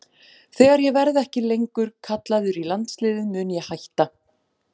Þegar ég verði ekki lengur kallaður í landsliðið mun ég hætta.